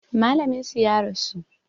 Malamin su ya rasu